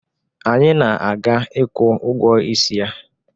Anyị na-aga ịkwụ ụgwọ isi ya